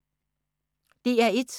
DR1